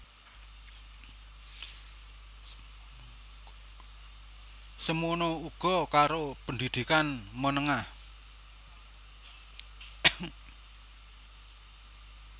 Semana uga karo pendidikan menengah